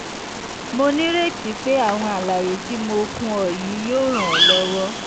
mo nírètí pé àwọn àlàyé tí mo fún ọ yìí yóò ràn ọ́ lọ́wọ́